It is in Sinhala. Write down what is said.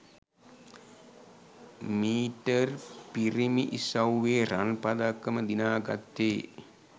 මීටර්පිරිමි ඉසව්වේ රන් පදක්කම දිනා ගත්තේ